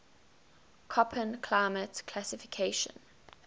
koppen climate classification